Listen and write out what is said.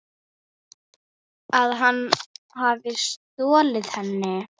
Að hann hafi stolið henni?